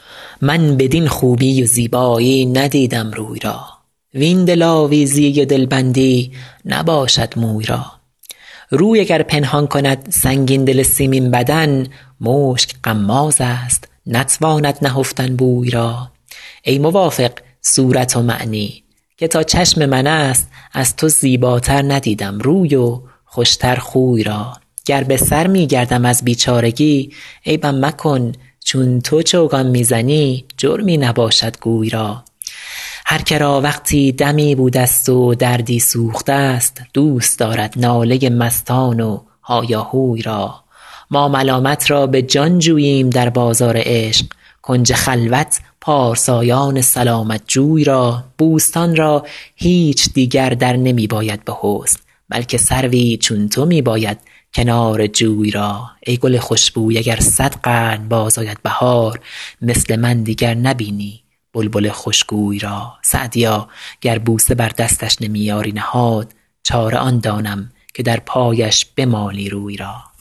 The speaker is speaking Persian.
من بدین خوبی و زیبایی ندیدم روی را وین دلآویزی و دلبندی نباشد موی را روی اگر پنهان کند سنگین دل سیمین بدن مشک غمازست نتواند نهفتن بوی را ای موافق صورت ومعنی که تا چشم من است از تو زیباتر ندیدم روی و خوش تر خوی را گر به سر می گردم از بیچارگی عیبم مکن چون تو چوگان می زنی جرمی نباشد گوی را هر که را وقتی دمی بودست و دردی سوخته ست دوست دارد ناله مستان و هایاهوی را ما ملامت را به جان جوییم در بازار عشق کنج خلوت پارسایان سلامت جوی را بوستان را هیچ دیگر در نمی باید به حسن بلکه سروی چون تو می باید کنار جوی را ای گل خوش بوی اگر صد قرن باز آید بهار مثل من دیگر نبینی بلبل خوش گوی را سعدیا گر بوسه بر دستش نمی یاری نهاد چاره آن دانم که در پایش بمالی روی را